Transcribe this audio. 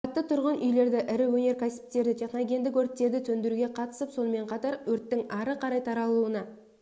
қабатты тұрғын үйлерді ірі өнеркәсіптерді техногендік өрттерді сөндіруге қатысып сонымен қатар өрттің ары қарай таралуына